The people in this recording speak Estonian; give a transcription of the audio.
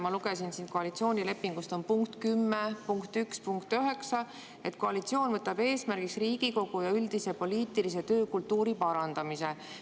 Ma lugesin koalitsioonilepingut, siin on punkt 10.1.9, mis ütleb nii: "Koalitsioon võtab eesmärgiks Riigikogu ja üldise poliitilise töökultuuri parandamise.